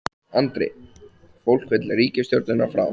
Andri: Fólk vill ríkisstjórnina frá?